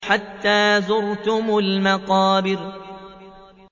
حَتَّىٰ زُرْتُمُ الْمَقَابِرَ